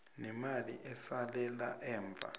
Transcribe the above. nemali esalela emva